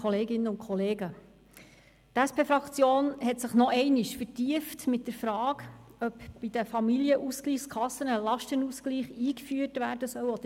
Die SP-Fraktion hat sich nochmals vertieft mit der Frage auseinander gesetzt, ob bei den Familienausgleichskassen ein Lastenausgleich eingeführt werden soll.